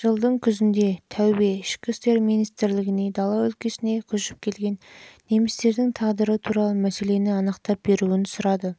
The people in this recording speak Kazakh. жылдың күзінде таубе ішкі істер министрлігіне дала өлкесіне көшіп келген немістердің тағдыры туралы мәселені анықтап беруін сұрады